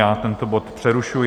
Já tento bod přerušuji.